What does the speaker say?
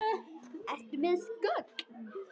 Ertu með þessi gögn?